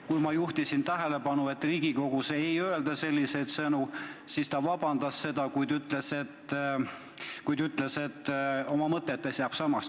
Kui ma juhtisin tähelepanu sellele, et Riigikogus ei öelda selliseid sõnu, siis ta vabandas, kuid ütles, et oma mõtetes jääb ta enda seisukoha juurde.